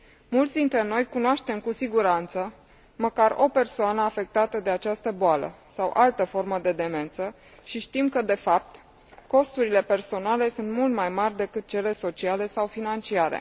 Mulți dintre noi cunoaștem, cu siguranță, măcar o persoană afectată de această boală sau altă formă de demență și știm că, de fapt, costurile personale sunt mult mai mari decât cele sociale sau financiare.